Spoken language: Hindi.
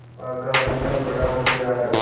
पागल नहीं हैं बड़ा होशियार है